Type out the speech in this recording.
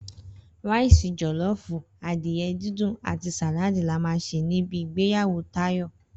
Ráìsì jò̩ló̩ò̩fù, adìye̩ díndín àti sàláàdì la máa sè ní ibi ìgbéyàwó Táyò̩